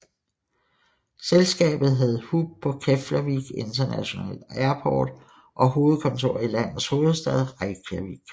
Selskabet havde hub på Keflavík International Airport og hovedkontor i landets hovedstad Reykjavík